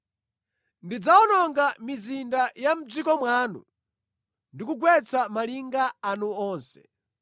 Ndidzawononga mizinda ya mʼdziko mwanu ndi kugwetsa malinga anu onse.